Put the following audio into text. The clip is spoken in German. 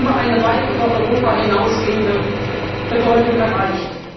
der 9. November eine weit über Europa hinausgehende Bedeutung erreicht.